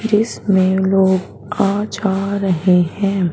जिसमें लोग आज आ रहे हैं।